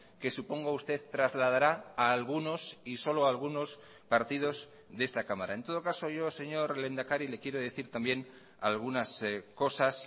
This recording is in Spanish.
que supongo usted trasladará a algunos y solo algunos partidos de esta cámara en todo caso yo señor lehendakari le quiero decir también algunas cosas